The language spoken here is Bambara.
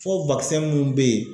Fɔ wakisɛn mun be yen